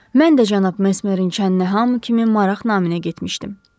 Mən də cənab Mesmerin çənnə hamı kimi maraq naminə getmişdim.